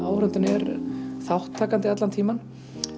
áhorfandinn er þátttakandi allan tímann